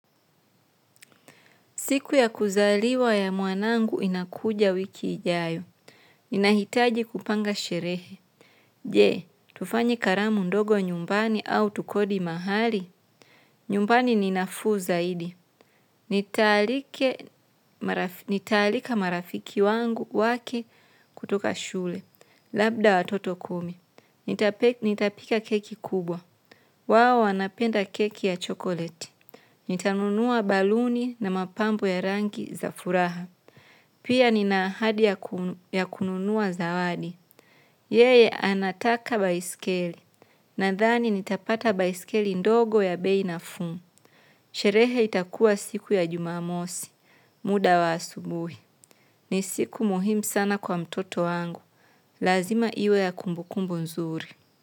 Siku ya kuzaliwa ya mwanangu inakuja wiki ijayo. Ninahitaji kupanga sherehe. Je, tufanye karamu ndogo nyumbani au tukodi mahali. Nyumbani ni nafuu zaidi. Nitaalika marafiki wangu wake kutoka shule. Labda watoto kumi. Nitapika keki kubwa. Wao wanapenda keki ya chocolate. Nitanunua baluni na mapambo ya rangi za furaha. Pia nina ahadi ya kununua zawadi. Yeye anataka baiskeli. Nadhani nitapata baiskeli ndogo ya bei nafuu. Sherehe itakua siku ya jumamosi. Muda wa asubuhi. Ni siku muhimu sana kwa mtoto wangu. Lazima iwe ya kumbukumbu nzuri.